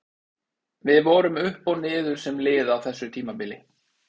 Við vorum upp og niður sem lið á þessu tímabili.